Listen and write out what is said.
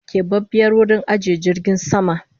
Kebabiyar wurin ajiye jirgin sama